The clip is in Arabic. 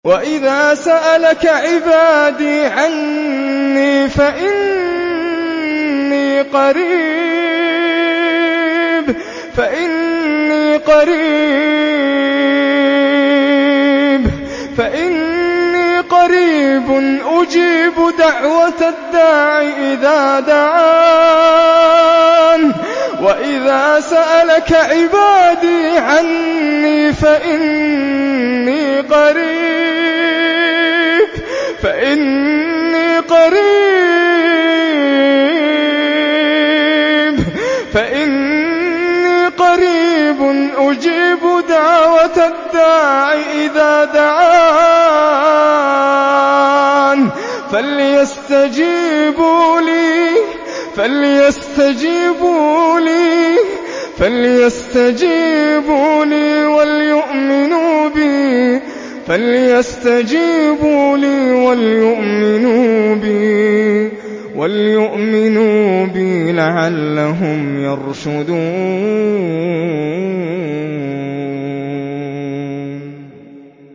وَإِذَا سَأَلَكَ عِبَادِي عَنِّي فَإِنِّي قَرِيبٌ ۖ أُجِيبُ دَعْوَةَ الدَّاعِ إِذَا دَعَانِ ۖ فَلْيَسْتَجِيبُوا لِي وَلْيُؤْمِنُوا بِي لَعَلَّهُمْ يَرْشُدُونَ